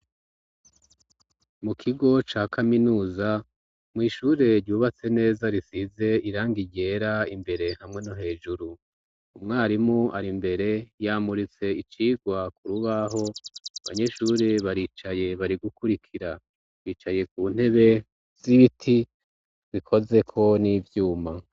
mu kigo ca kaminuza mw' ishure ryubatse neza risize irangi ryera imbere hamwe no hejuru umwarimu ari mbere yamuritse icigwa kurubaho banyeshuri baricaye bari gukurikira bicaye ku ntebe z'ibiti bikozeko n'ibyuma